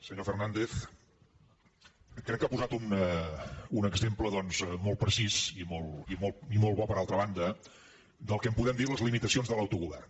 senyor fernàndez crec que ha posat un exemple doncs molt precís i molt bo per altra banda del que en podem dir les limita cions de l’autogovern